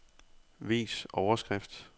Vis overskrift.